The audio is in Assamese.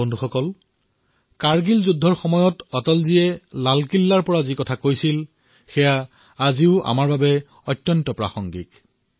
বন্ধুসকল কাৰ্গিল যুদ্ধৰ সময়ত অটলজীয়ে লালকিল্লাৰ পৰা যি কৈছিল সেয়া আজিও আমাৰ বাবে প্ৰাসংগিক হৈ আছে